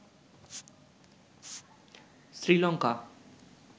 Sri Lanka